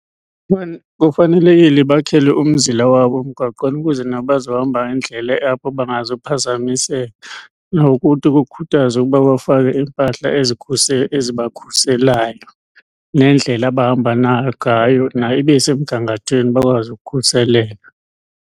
Kufanelekile bakhelwe umzila wabo emgaqweni ukuze nabo bazohamba indlela apho bangazuphazamiseka nokuthi kukhuthazwe ukuba bafake iimpahla ezibakhuselayo nendlela abahamba nangayo nayo ibesemgangathweni, bakwazi ukukhuseleka.